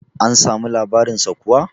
an samu labarinsa kuwa?